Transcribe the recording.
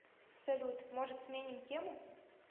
салют может сменим тему